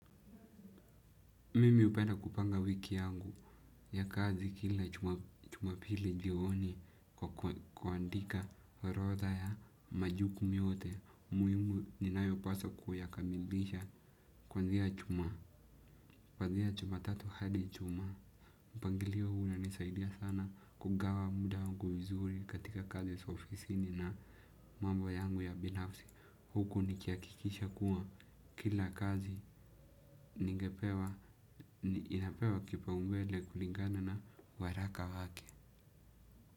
Mimi hupenda kupanga wiki yangu ya kazi kila jumapili jioni kwa kuandika orotha ya majukumu yote muhimu ninayopaswa kuyakamilisha kwanzia juma. Kuanzia jumatatu hadi ijuma, mpangilio huu unanisaidia sana kugawa muda wangu vizuri katika kazi za ofisini na mambo yangu ya binafsi. Huku nikihakikisha kuwa kila kazi ningepewa, inapewa kipaumbele kulingana na waraka wake.